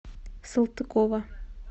салтыкова